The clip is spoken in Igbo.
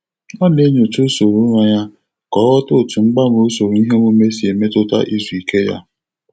Ọ na-enyocha usoro ụra ya ka ọ ghọta otu mgbanwe usoro iheomume si emetụta izu ike ya.